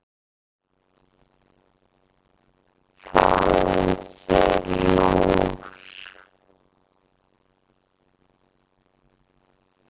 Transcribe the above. Fáðu þér lúr.